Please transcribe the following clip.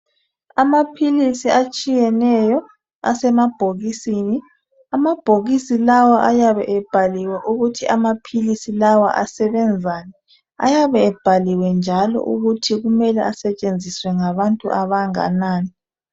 Amaphilisi etshiyeneyo asemabhokisini. Amabhokisi lawo ayabe ebhaliwe ukuthi amaphilisi lawo asebenzani. Ayabe ebhaliwe njalo ukuthi kumele asetshenziswe ngabantu abanganani.